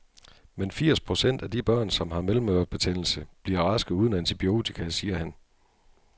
Men firs procent af de børn, som har mellemørebetændelse, bliver raske uden antibiotika, siger han.